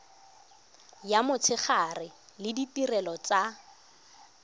ya motshegare le ditirelo tsa